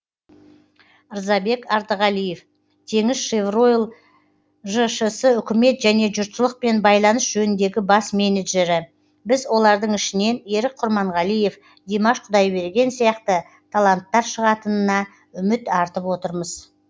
рзабек артығалиев теңізшевройл жшс үкімет және жұртшылықпен байланыс жөніндегі бас менеджері біз олардың ішінен ерік құрманғалиев димаш құдайберген сияқты таланттар шығатынына үміт артып отырмыз